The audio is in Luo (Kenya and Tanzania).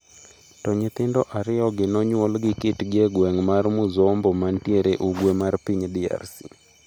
To nyithindo ariyo gi nonyuol gi kitgi e gweng' mar Muzombo mantie ugwe mar piny DRC.